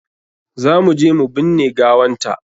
Za mu je mu binne gawanta.